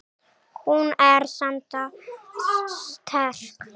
Hún er sannarlega sterk.